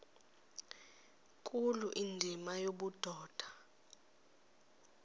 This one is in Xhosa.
nkulu indima yobudoda